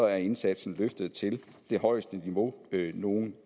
er indsatsen løftet til det højeste niveau nogen